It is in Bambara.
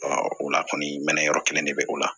o la kɔni mɛnɛn yɔrɔ kelen de bɛ o la